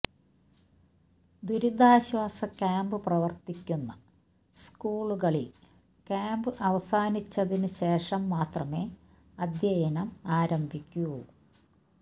ദുരിതാശ്വാസ ക്യാംപ് പ്രവര്ത്തിക്കുന്ന സ്കൂളുകളില് ക്യാംപ് അവസാനിച്ചതിന് ശേഷം മാത്രമേ അധ്യയനം ആരംഭിക്കൂ